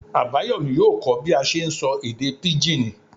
Abayomí yóò kọ́ bí a n ṣe sọ èdè pigín